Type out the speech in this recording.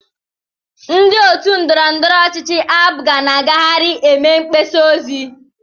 Ndị otu ndọrọndọrọ ọchịchị APGA na-agagharị eme mgbasa ozi.